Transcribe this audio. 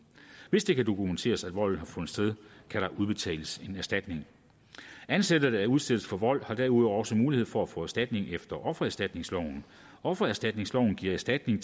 hvis det kan dokumenteres at volden har fundet sted kan der udbetales en erstatning ansatte der udsættes for vold har derudover også mulighed for at få erstatning efter offererstatningsloven offererstatningsloven giver erstatning